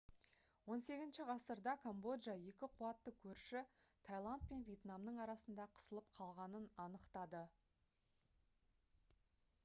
18 ғасырда камбоджа екі қуатты көрші тайланд пен вьетнамның арасында қысылып қалғанын анықтады